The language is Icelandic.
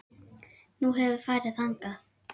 Nú, hefurðu farið þangað?